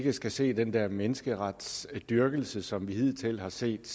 ikke skal se den der menneskeretsdyrkelse som vi hidtil har set